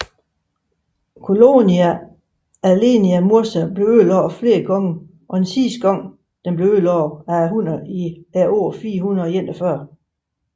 Colonia Aelia Mursa blev ødelagt flere gange og den sidste gang blev den ødelagt af hunnerne i året 441